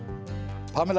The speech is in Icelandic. Pamela